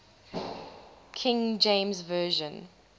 king james version